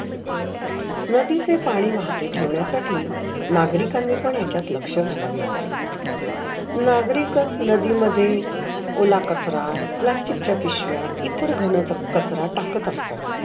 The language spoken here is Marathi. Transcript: नदीचे पाणे वाहते ठेवण्यासाठी नागरीकांनी पण याच्यात लक्ष घालावे लागेल. नागरीकच नदी मध्ये ओला करचरा, प्लास्टिकच्या पिसव्या इतर घनाचा खचरा टाकत असतात.